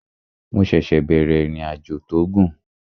Mo ṣẹ̀ṣẹ̀ bẹ̀rẹ̀ ìrìnàjò tó gùn